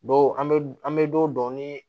Dɔw an bɛ an bɛ don dɔn ni